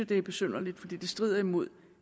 det er besynderligt fordi det strider imod